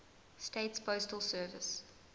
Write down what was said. states postal service